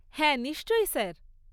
হ্যাঁ, নিশ্চয়ই স্যার।